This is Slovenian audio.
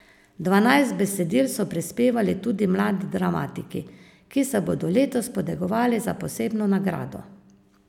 Dvanajst besedil so prispevali tudi mladi dramatiki, ki se bodo letos potegovali za posebno nagrado.